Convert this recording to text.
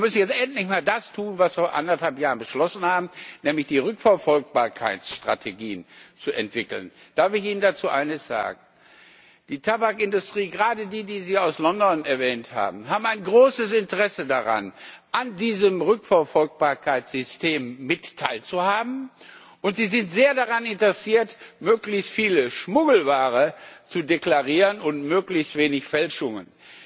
Wir müssen jetzt endlich mal das tun, was wir vor anderthalb Jahren beschlossen haben, nämlich Rückverfolgbarkeitsstrategien zu entwickeln. Darf ich Ihnen dazu eines sagen? Die Tabakindustrie gerade die, die Sie aus London erwähnt haben hat ein großes Interesse daran, an diesem Rückverfolgbarkeitssystem mit teilzuhaben, und sie ist sehr daran interessiert, möglichst viel Schmuggelware zu deklarieren und möglichst wenig Fälschungen.